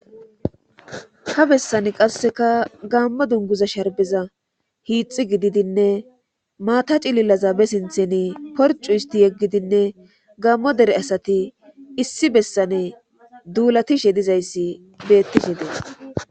Ha bessane qasseka gammo dunguza sharbeza hiixi gididinne maata cilillaza be sintheni porcu isti yeggidinne gaammo dere asati issi bessane duulatishe dizayssi beettishe dees